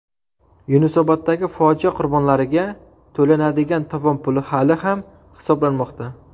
Yunusoboddagi fojia qurbonlariga to‘lanadigan tovon puli hali ham hisoblanmoqda.